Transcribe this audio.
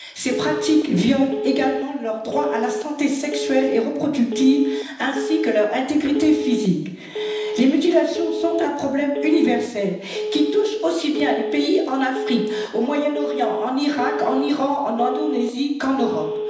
Ces pratiques violent également leur droit à la santé sexuelle et reproductive ainsi que leur intégrité physique. Les mutilations sont un problème universel, qui touche aussi bien les pays en Afrique, au Moyen Orient, en Irak, en Iran, en Indonésie, qu'en Europe.